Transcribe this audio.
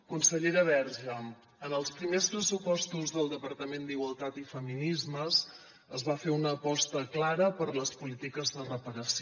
consellera verge en els primers pressupostos del departament d’igualtat i feminismes es va fer una aposta clara per les polítiques de reparació